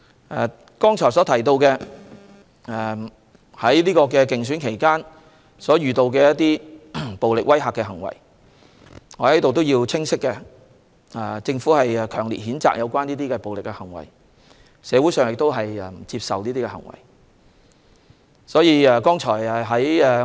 我剛才提到競選期間遇到的暴力威嚇行為，我在此清晰表示，政府強力譴責這些暴力行為，社會人士也不接受這些行為。